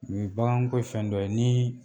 Nin baganko ye fɛn dɔ ye ni